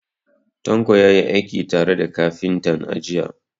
Tanko ya yi aiki tare da kafintan, a jiya.